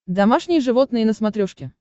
домашние животные на смотрешке